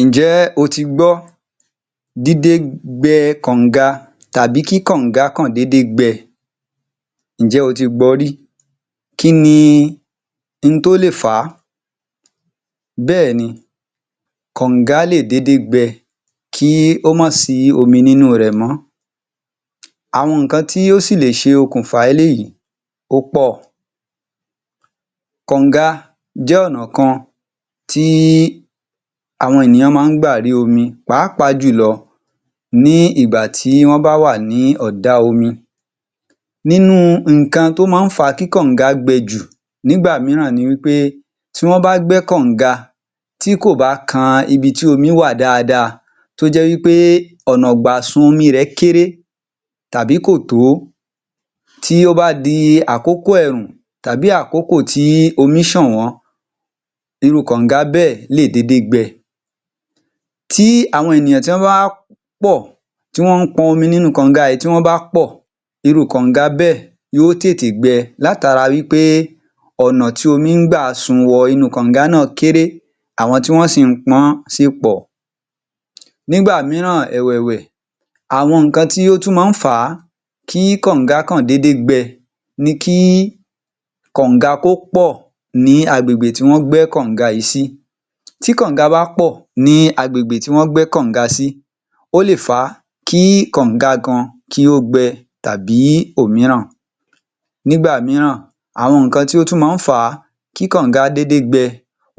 Ǹjẹ́ o tí gbọ́ dídé gbẹ kọ̀nga tàbí kí kọ̀nga kàn dédé gbẹ́, ǹjẹ́ o ti gbọ rí? kí ní ohun tó lè fà á? Bẹ́ẹ̀ni, kọ̀nga lè dédé gbẹ kí ó máa sí omi nínú rẹ̀ mọ́, àwọn nǹkan tí ó sì lè ṣe okùn fa eléyìí ó pọ̀, kọ̀nga jẹ́ ọ̀nà kan tí àwọn ènìyàn máa ń gbà rí omi pàápàá jù lọ ní ìgbà tí wọ́n bá wà ní ọ̀dá omi. Nínú nǹkan tí ó máa ń fà á kí kọ̀nga gbẹ jù nígbà mìíràn ni wí pé, tí wọ́n bá gbẹ́ kọ̀nga tí kò bá kan ibi tí omi wà dáadáa tó jẹ́ wí pé ọ̀nà ìgbà sun omi ẹ̀ kéré tàbí kò tó, tí ó ba di àkókò ẹ̀rùn tàbí àkókò tí omi ṣànwọ́, irú kọ̀nga bẹ́ẹ̀ lè dédé gbẹ. Tí àwọn ènìyàn, tí wọ́n bá wá pọ̀, tí wọ́n pọmi nínú kọ̀nga yìí, tí wọ́n bá pọ̀, irú kọ̀nga bẹ́è yóò tètè gbẹ látara wí pé ọ̀nà tí omi ń gba sun wọnú kọ̀nga náà kéré, àwọn tí wọ́n sì ń pọ́n sì pọ̀. Nígbà mìíràn ẹ̀wẹ̀wẹ̀, àwọn nǹkan tí ó tún máa ń fà á kí kọ̀nga kàn dédé gbẹ ni kí kọ̀nga kó pọ̀ ní agbègbè tí wọ́n gbẹ́ kọ̀nga yìí sí. Tí kọ̀nga bá pọ̀ ní agbègbè tí wọ́n gbẹ́ kọ̀nga sí, ó lè fa kí kọ̀nga gan kí ó gbẹ́ tàbí òmíràn. Nígbà mìíràn, àwọn nǹkan tí ó tún máa ń fà á kí kọ̀nga dédé gbẹ,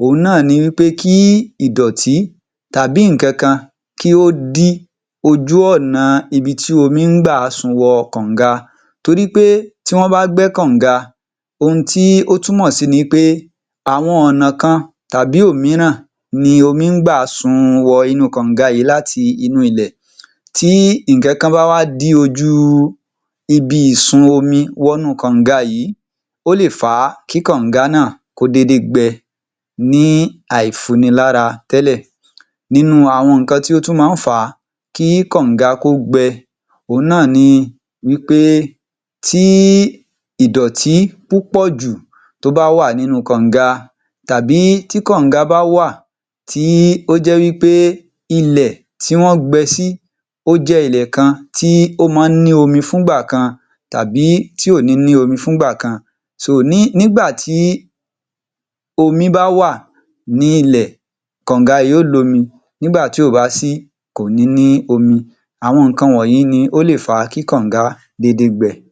òun náà ni wí pé kí ìdọ̀tí tàbí nǹkan kan kí ó dí ojú ọ̀nà ibi tí omi ń gbà sun wọ kọ̀nga, torí pé tí wọ́n bá gbẹ́ kọ̀nga, ohun tí ó túmọ̀ sí ni wí pé, àwọn ọ̀nà kan tàbí òmíràn ni omi ń gbà sun wọ inú kọ̀nga yìí láti inú ilẹ̀, tí nǹkan kan bá wá dí ojú ibi ìsun omi wọnú kọ̀nga yìí, ó lè fa kí kọ̀nga náà kó dédé gbẹ ní àìfunilára tẹ́lẹ̀. Nínú àwọn nǹkan tí ó tún máa ń fà á kí kọ̀nga kó gbẹ, òun náà ni wí pé tí ìdọ̀tí púpọ̀ jù tó bá wà nínú kọ̀nga tàbí tí kọ̀nga bá wà tí ó jẹ́ wí pé ilẹ̀ tí wọ́n gbẹ́ sí ó jẹ́ ilẹ̀ kan tí ó máa ń ní omi fún ìgbà kan tàbí tí ò ní ní omi fún ìgbà kan, ní nígbàtí omi bá wà ní ilẹ̀, kọ̀nga yóò lomi, nígbà tí ò bá sí, kò ní ní omi, àwọn nǹkan wọ̀nyìí ni ó lè fa kí kọ̀nga dédé gbẹ.